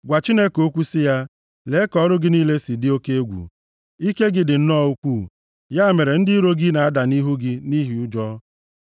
Gwa Chineke okwu sị ya, “Lee ka ọrụ gị niile si dị oke egwu! Ike gị dị nnọọ ukwu, ya mere ndị iro gị, na-ada nʼihu gị nʼihi ụjọ.